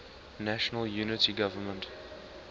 national unity government